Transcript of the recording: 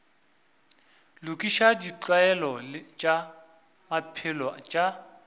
lokiša ditlwaelo tša maphelo tša